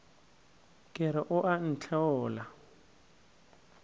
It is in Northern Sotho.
ke re o a ntheola